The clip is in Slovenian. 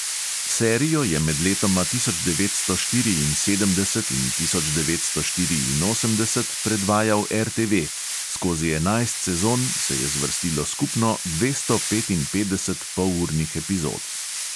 Serijo je med letoma tisoč devetsto štiriinsedemdeset in tisoč devetsto štiriinosemdeset predvajal RTV, skozi enajst sezon se je zvrstilo skupno dvesto petinpetdeset polurnih epizod.